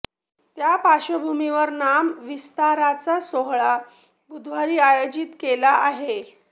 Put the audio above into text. त्या पार्श्वभूमीवर नाम विस्ताराचा सोहळा बुधवारी आयोजित केला आहे